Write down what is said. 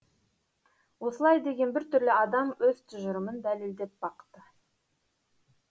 осылай деген біртүрлі адам өз тұжырымын дәлелдеп бақты